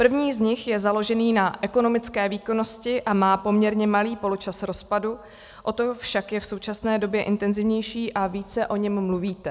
První z nich je založený na ekonomické výkonnosti a má poměrně malý poločas rozpadu, o to však je v současné době intenzivnější a více o něm mluvíte.